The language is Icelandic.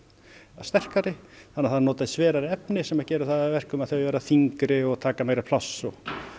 sterkari þannig að það er notað sverara efni sem gerir það að verkum að þau verða þyngri og taka meira pláss og